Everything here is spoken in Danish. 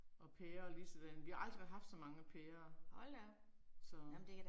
Og pærer lige sådan, vi har aldrig haft så mange pærer. Så